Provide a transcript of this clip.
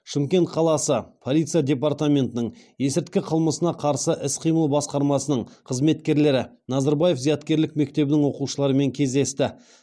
шымкент қаласы полиция департаментінің есірткі қылмысына қарсы іс қимыл басқармасының қызметкерлері назарбаев зияткерлік мектебінің оқушыларымен кездесті